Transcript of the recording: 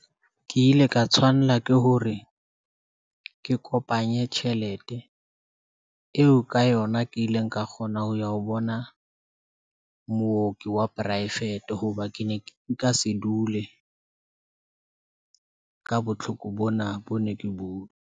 Ke ile ka tshwanela ke hore ke kopanye tjhelete. Eo ka yona ke ileng ka kgona ho ya ho bona mooki wa poraefete hoba ke ne nka se dule ka botlhoko. Bona bo ne ke bo.